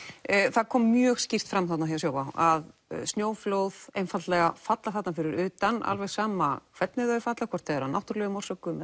það kom mjög skírt fram þarna hjá Sjóvá að snjóflóð einfaldlega falla þarna fyrir utan alveg sama hvernig þau falla hvort sem það er af náttúrulegum orsökum